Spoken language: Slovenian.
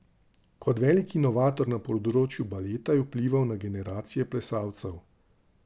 Kot velik inovator na področju baleta je vplival na generacije plesalcev.